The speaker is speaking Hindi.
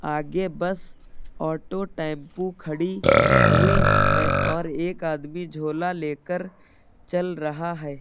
आगे बस ऑटो टेंपू खड़ी हुई है और एक आदमी झोला लेकर चल रहा है।